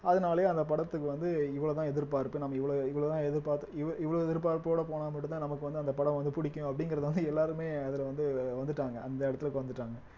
அதனாலயே அந்த படத்துக்கு வந்து இவ்வளவுதான் எதிர்பார்ப்பு நம்ம இவ்வளவு இவ்வளவுதான் எதிர்பார்த்து இவ்~ இவ்வளவு எதிர்பார்ப்போட போனா மட்டும்தான் நமக்கு வந்து அந்த படம் வந்து பிடிக்கும் அப்படிங்கிறத வந்து எல்லாருமே அதுல வந்து வந்துட்டாங்க அந்த இடத்லுக்கு வந்துட்டாங்க